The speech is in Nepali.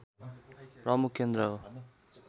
प्रमुख केन्द्र हो